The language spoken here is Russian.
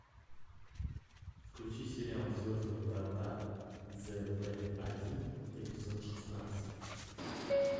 включи сериал звездные врата з в один эпизод шестнадцать